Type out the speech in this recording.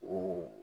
O